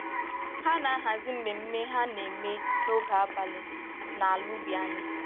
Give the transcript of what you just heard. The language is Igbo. Ha na-ahazi mmemme ha na-eme n'oge abalị n'ala ubi anyị